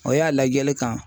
O y'a lajɛli kan